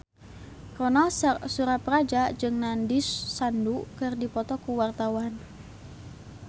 Ronal Surapradja jeung Nandish Sandhu keur dipoto ku wartawan